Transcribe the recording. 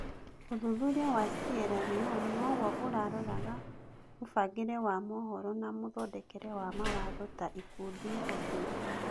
ũthuthuria wa Sieraloni noguo ũraroraga mũbangĩre wa mohoro na mũthondekere wa mawatho ta ikundi hũthĩri.